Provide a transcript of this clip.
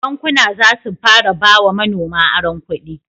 Bankuna zasu fara ba wa manoma aron kudi